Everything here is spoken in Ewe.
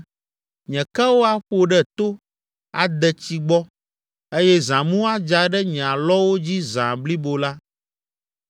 Nye kewo aƒo ɖe to, ade tsi gbɔ eye zãmu adza ɖe nye alɔwo dzi zã blibo la.